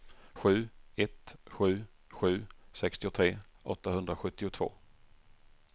sju ett sju sju sextiotre åttahundrasjuttiotvå